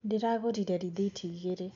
Ndĩragũrire rĩthiti igĩrĩ